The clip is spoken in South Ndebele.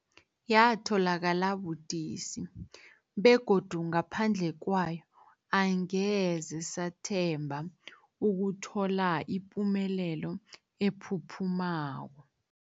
Yatholakala budisi, begodu ngaphandle kwayo angeze sathemba ukuthola ipumelelo ephuphumako.